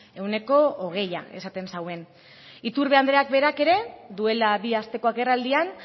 ehuneko hogeia esaten zuen iturbe andreak berak ere duela bi asteko agerraldian